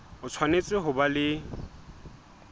o tshwanetse ho ba le